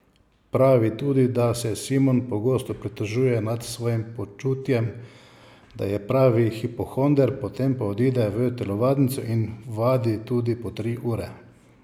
Pravi tudi, da se Simon pogosto pritožuje nad svojim počutjem, da je pravi hipohonder, potem pa odide v telovadnico in vadi tudi po tri ure.